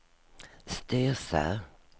Styrsö